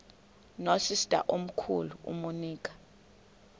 nosister omkhulu umonica